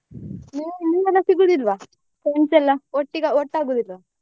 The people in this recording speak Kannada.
ಸಿಗುದಿಲ್ವಾ friends ಎಲ್ಲ ಒಟ್ಟಿಗೆ ಒಟ್ಟಾಗುದಿಲ್ವ?